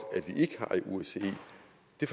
det